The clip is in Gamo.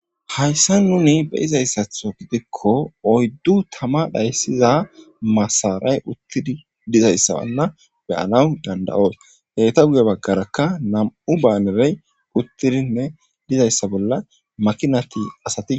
Hayssa nuni beyizayssatho gidikko oyddu tama dhayssiza masaray uttidi dizayssabanna beyanaw danda7oos heyta guge baggarakka nam7u baanerey uttidinne dizayssa bolla makinati asati.